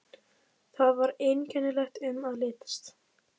Þar var einkennilegt um að litast.